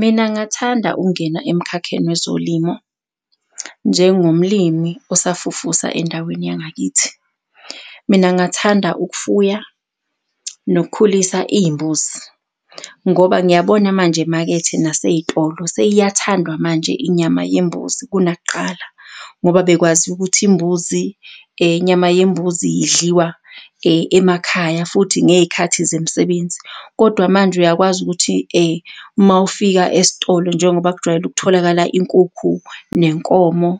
Mina ngathanda ukungena emkhakheni wezolimo njengomlimi osafufusa endaweni yangakithi. Mina ngathanda ukufuya nokukhulisa iy'mbuzi ngoba ngiyabona manje emakethe nasey'tolo seyiyathandwa manje inyama yembuzi kunakuqala ngoba bekwaziwa ukuthi imbuzi inyama yembuzi idliwa emakhaya futhi ngey'khathi zemisebenzi. Kodwa manje uyakwazi ukuthi uma ufika esitolo njengoba kujwayele ukutholakala inkukhu nenkomo